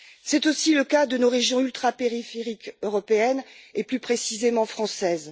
C'est aussi le cas de nos régions ultrapériphériques européennes et, plus précisément, françaises.